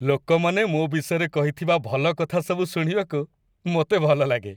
ଲୋକମାନେ ମୋ ବିଷୟରେ କହିଥିବା ଭଲ କଥା ସବୁ ଶୁଣିବାକୁ ମୋତେ ଭଲ ଲାଗେ।